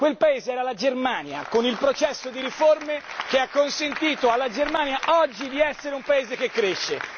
Quel paese era la Germania, con il processo di riforme che ha consentito alla Germania oggi di essere un Paese che cresce.